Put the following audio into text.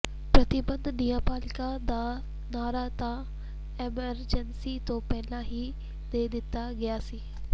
ਪ੍ਰਤੀਬੱਧ ਨਿਆਂਪਾਲਿਕਾ ਦਾ ਨਾਅਰਾ ਤਾਂ ਐਮਰਜੈਂਸੀ ਤੋਂ ਪਹਿਲਾਂ ਹੀ ਦੇ ਦਿੱਤਾ ਗਿਆ ਸੀ